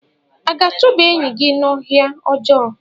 A ga-achụba enyi gị n'ọhịa ọjọọ?